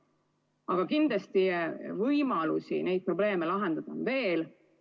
Aga kindlasti võimalusi neid probleeme lahendada on veel.